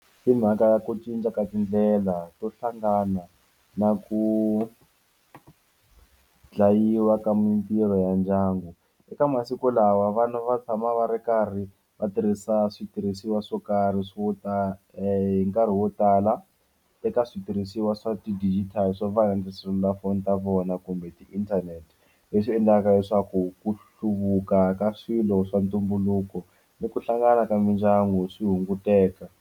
Mhaka ya ku cinca ka tindlela to hlangana na ku dlayiwa ka mintirho ya ndyangu eka masiku lawa vana va tshama va ri karhi va tirhisa switirhisiwa swo karhi swo tala hi nkarhi wo tala teka switirhisiwa swa ti digital swo fana na tiselulafoni ta vona kumbe ti inthanete leswi endlaka leswaku ku hluvuka ka swilo swa ntumbuluko ni ku hlangana ka mindyangu swi hunguteka.